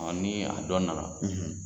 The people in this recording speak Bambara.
Ɔɔ ni a dɔn nana